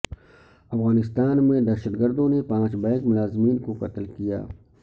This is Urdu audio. افغانستان میں دہشت گردوں نے پانچ بینک ملازمین کو قتل کیا